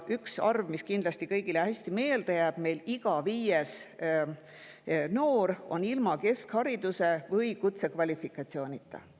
Üks arv, mis kindlasti kõigile hästi meelde jääb, meil on iga viies noor ilma keskhariduse või kutsekvalifikatsioonita.